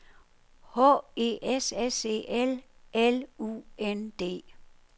H E S S E L L U N D